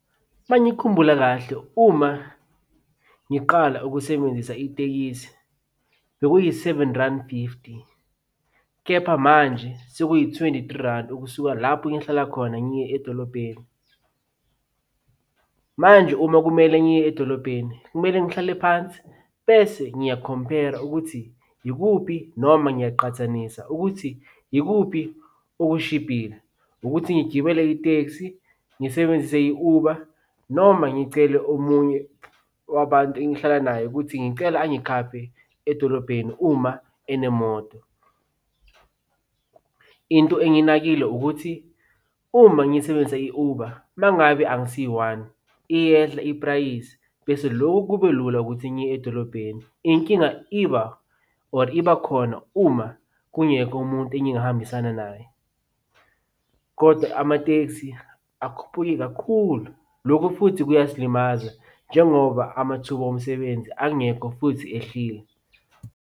Uma ngikhumbula kahle, uma ngiqala ukusebenzisa itekisi, bekuyi-seven Randi fifty, kepha manje sekuyi-twenty-three Randi ukusuka lapho ehlala khona, ngiye edolobheni. Manje uma kumele ngiye edolobheni, kumele ngihlale phansi bese ngiyakhompera ukuthi yikuphi noma ngiyaqhathanisa ukuthi yikuphi okushibhile. Ukuthi ngigibele itekisi, ngisebenzise i-Uber noma ngicele omunye wabantu engihlala naye ukuthi ngicela angikhaphe edolobheni uma enemoto. Into enginakile ukuthi, uma ngiyisebenzisa i-Uber, uma ngabe angisi-one iyehla iprayizi bese lokhu kube lula ukuthi ngiye edolobheni. Inking iba or ibakhona uma kungekho umuntu engingahambisana naye, kodwa amatekisi akhuphuke kakhulu. Lokhu futhi kuyasilimaza njengoba amathuba omsebenzi angekho futhi ehlile.